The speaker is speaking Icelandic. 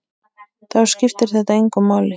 Þá skiptir þetta engu máli.